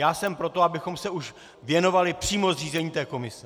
Já jsem pro to, abychom se už věnovali přímo zřízení této komise.